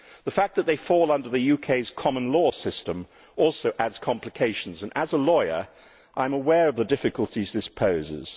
The fact that they fall under the UK's common law system also adds complications and, as a lawyer, I am aware of the difficulties that this poses.